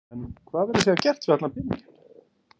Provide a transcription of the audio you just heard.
En hvað verður síðan gert við allan peninginn?